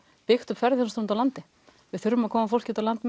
byggt upp ferðaþjónustu út á landi við þurfum að koma fólki út á land